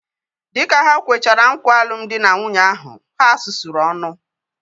Dịka ha kwechara nkwa alụmdi na nwunye ahu, ha sụsụrụ ọnụ